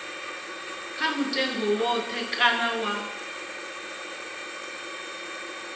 kha mutengo woṱhe kana wa